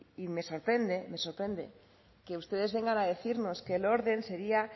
y me sorprende me sorprende que ustedes vengan a decirnos que el orden sería